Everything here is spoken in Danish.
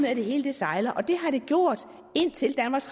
at det hele sejler og det har det gjort indtil danmarks